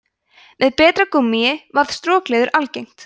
með betra gúmmíi varð strokleður algengt